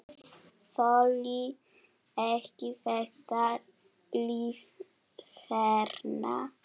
Þoli ekki þetta líf hérna.